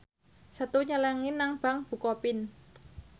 Setu nyelengi nang bank bukopin